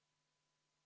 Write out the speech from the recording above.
Aitäh, hea eesistuja!